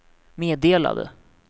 meddelade